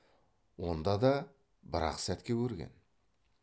онда да бір ақ сәтке көрген